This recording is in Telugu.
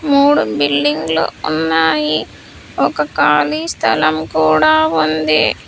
మూడు బిల్డింగ్ లు ఉన్నాయి ఒక ఖాళీ స్థలం కూడా ఉంది.